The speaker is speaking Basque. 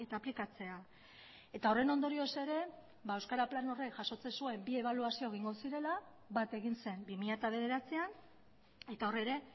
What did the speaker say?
aplikatzea eta horren ondorioz ere euskara plan horrek jasotzen zuen bi ebaluazio egingo zirela bat egin zen bi mila bederatzian eta hor ere